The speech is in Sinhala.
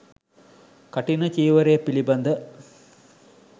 කඨින චීවරය පිළිබඳ